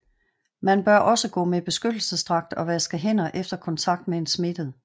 Man bør også gå med beskyttelsesdragt og vaske hænder efter kontakt med en smittet